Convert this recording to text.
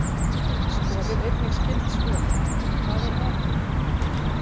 Skoðið einnig skyld svör: Hvað er atóm?